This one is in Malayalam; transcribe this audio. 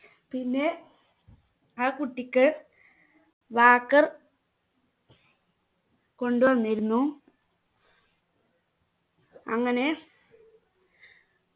പിന്നെ ആ കുട്ടിക്ക് walker കൊണ്ടുവന്നിരുന്നു അങ്ങനെ